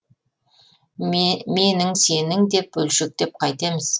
менің сенің деп бөлшектеп қайтеміз